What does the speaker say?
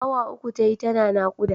Awa uku tayi tana naƙuda.